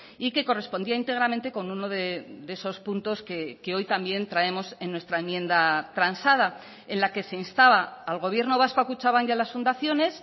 y que correspondía íntegramente con uno de esos puntos que hoy también traemos en nuestra enmienda transada en la que se instaba al gobierno vasco a kutxabank y a las fundaciones